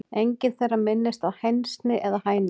Engin þeirra minnist á hænsni eða hænur.